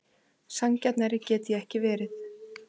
Sanngjarnari get ég ekki verið.